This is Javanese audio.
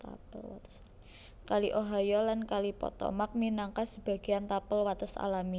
Kali Ohio lan Kali Potomac minangka sebagéyan tapel wates alami